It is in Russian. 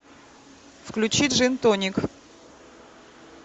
включи джин тоник